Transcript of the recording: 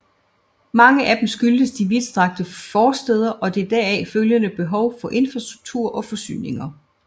Mange af dem skyldes de vidtstrakte forstæder og det deraf følgende behov for infrastruktur og forsyninger